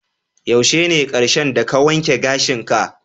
Yaushe ne karshen da ka wanke gashin ka?